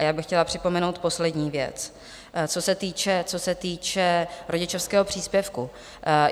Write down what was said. A já bych chtěla připomenout poslední věc, co se týče rodičovského příspěvku.